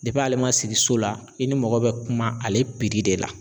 ale ma sigi so la i ni mɔgɔ bɛ kuma ale de la.